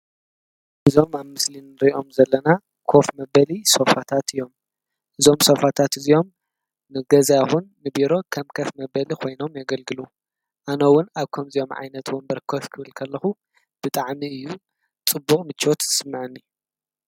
እዞም ኣብ ምስሊ ንሪኦም ዘለና ኮፍ መበሊ ሶፋታት እዮም፡፡ እዞም ሶፋታት እዚኦም ንገዛ ይኹን ንቢሮ ከም ከፍ መበሊ ኮይኖም የገልግሎ፡፡ ኣነ ውን ኣብ ከምዚኦም ዓይነት ወንበር ከፍ ክብል ከለኹ ብጣዕሚ እዩ ፅቡቅ ምቾት ዝስምዐኒ፡፡